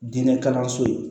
Diinɛ kalanso ye